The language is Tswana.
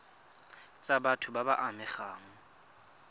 tsa batho ba ba amegang